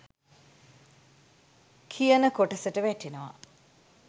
කියන කොටසට වැටෙනවා.